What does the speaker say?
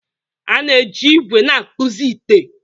A na-eji ígwè na-akpụzi ite